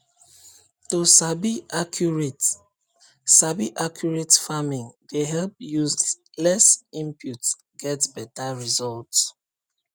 to sabi accurate sabi accurate farming dey help use less input get beta result